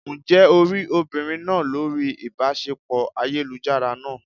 Ǹjẹ́ o rí obìnrin náà lórí ìbáṣepọ̀ ayélujára náà?